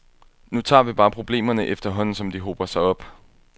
Nu tager vi bare problemerne, efterhånden som de hober sig op.